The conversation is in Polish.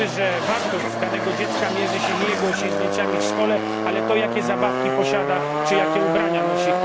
Uczy, że wartość danego dziecka mierzy się nie jego osiągnięciami w szkole, ale tym, jakie zabawki posiada czy jakie ubrania nosi.